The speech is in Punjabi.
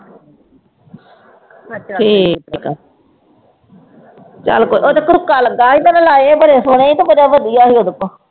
ਠੀਕ ਆ ਚੱਲ ਉਹ ਤਾਂ ਕੜੁੱਕਾ ਲੱਗਾ ਸੀ ਤੇ ਮੈਂ ਲਾਏ ਬੜੇ ਸੋਹਣੇ ਤੇ ਬੜਾ ਵਧੀਆ ਸੀ ਉਹਦੇ ਕੋਲ।